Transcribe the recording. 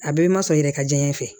A bɛɛ bɛ ma sɔn i yɛrɛ ka diɲɛ fɛ